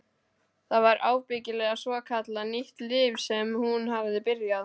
Það var ábyggilega svokallað nýtt líf sem hún hafði byrjað.